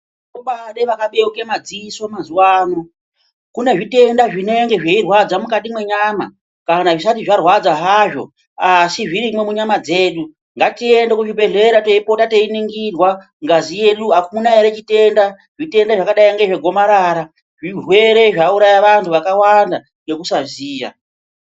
Komaade vakabeuke mazisoo mazuvanoo kune zvitenda zvinenge zveirwadza mwukati mwenyama kana zvisati zvarwadza hazvoo asi zvirimo munyama dzedu, ngatiende kuzvibhedhleraa teipota teiningirwaa ngazi yedu hakuna ehe chitendaa. Zvitenda zvakadai nezvegomarara zvirwere zvauraya vantu vakawanda ngekusazivaa.